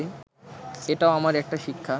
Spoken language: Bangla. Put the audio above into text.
এটাও আমার একটা শিক্ষা